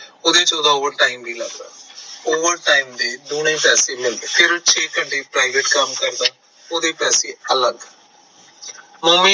ਉਹਦੇ ਚ ਉਹਦਾ over time ਵੀ ਲੱਗਦਾ over time ਦੇ ਦੁਣੇ ਪੈਸੇ ਮਿਲਦੇ ਫਿਰ ਉਹ ਛੇ ਘੰਟੇ ਪਰਾਈਵੇਟ ਕੰਮ ਵੀ ਕਰਦਾ ਉਹਦੇ ਪੈਸੇ ਅਲੱਗ ਮੋਮੀ